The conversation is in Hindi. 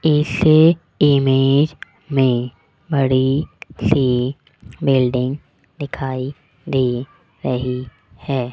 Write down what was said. इस इमेज में बड़ी सी बिल्डिंग दिखाई दे रही है।